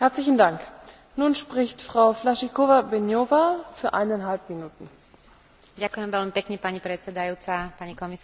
Hovoríme tu o readmisných dohodách a mnohých z nás trápi fundamentálna otázka Ako zabezpečiť ochranu práv a bezpečnosť vyhostených osôb?